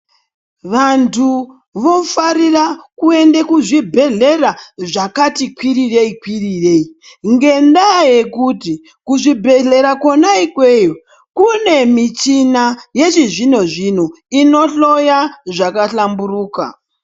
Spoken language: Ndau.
Vantu woafarirq kuenda kuzvibhedhlera zvakati kwirirei kwirirei ngendaa yekuti kuzvibhedhlera kona ikweyo kune michina yechizvino zvino inohloya zvakahlamburuka